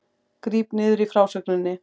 Gríp niður í frásögninni